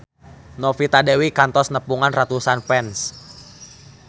Novita Dewi kantos nepungan ratusan fans